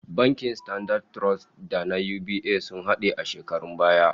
Bankin Standard Trust da na UBA sun hade a shekarun baya